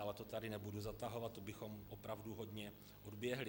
Ale to sem nebudu zatahovat, to bychom opravdu hodně odběhli.